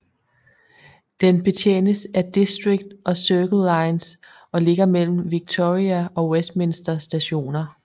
Den betjenes af District og Circle lines og ligger mellem Victoria og Westminster Stationer